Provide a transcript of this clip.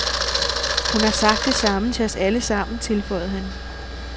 Hun har sagt det samme til os alle sammen, tilføjede han.